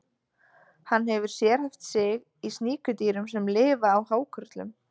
Hann hefur sérhæft sig í sníkjudýrum sem lifa á hákörlum.